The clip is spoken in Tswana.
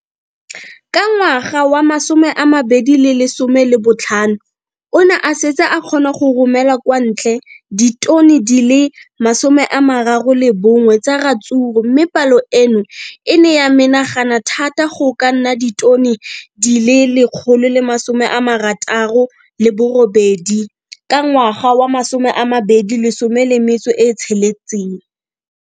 Ka ngwaga wa 2015, o ne a setse a kgona go romela kwa ntle ditone di le 31 tsa ratsuru mme palo eno e ne ya menagana thata go ka nna ditone di le 168 ka ngwaga wa 2016.